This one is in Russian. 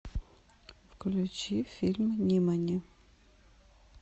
включи фильм нимани